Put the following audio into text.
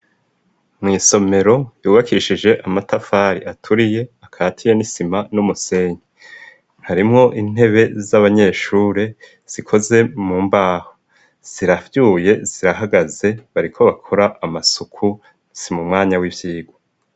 mw'isomero yubakishije amatafari aturiye akatiye n'isima n'umusenyi harimwo intebe z'abanyeshuri zikoze mu mbaho zirabyuye zirahagaze bariko bakora amasuku si mumwanya w'ivyigwa.